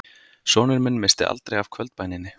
Sonur minn missti aldrei af kvöldbæninni